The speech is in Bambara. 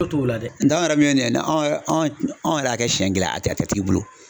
O t'o la dɛ nka an yɛrɛ min ye nin ye ne anw yɛ anw yɛrɛ y'a kɛ siɲɛ kelen a tɛ a tigi bolo.